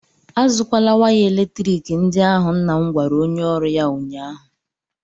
A zụkwala waya eletrik ndị ahụ! nna m gwara onye ọrụ ya ụnyaahụ!